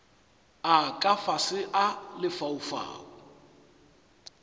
a ka fase a lefaufau